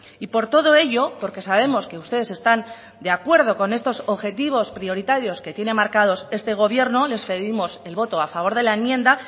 y por todo ello porque sabemos que ustedes están de acuerdo con estos objetivos prioritarios que tiene marcados este gobierno les pedimos el voto a favor de la enmienda